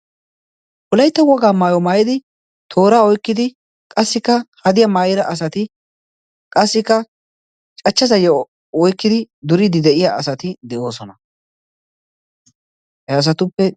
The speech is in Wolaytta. olaitta wogaa maayo maayidi toora oikkidi qassikka hadiya maayira asati qassikka cachchasayyo oikkidi duriidi de7iya asati de7oosona he asatuppe